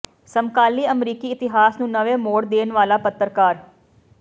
ਸਮਕਾਲੀ ਅਮਰੀਕੀ ਇਤਿਹਾਸ ਨੂੰ ਨਵੇਂ ਮੋੜ ਦੇਣ ਵਾਲਾ ਪੱਤਰਕਾਰ